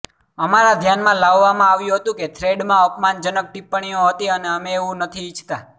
અમારા ધ્યાનમાં લાવવામાં આવ્યું હતું કે થ્રેડમાં અપમાનજનક ટિપ્પણીઓ હતી અને અમે એવું નથી ઈચ્છતા